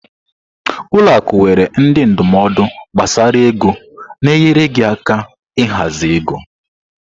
Ụlọ akụ nwere ndị ndụmọdụ gbasara ego na-enyere gị aka ịhazi ego gị.